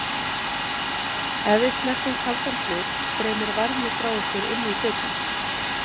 Ef við snertum kaldan hlut streymir varmi frá okkur inn í hlutinn.